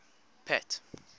pat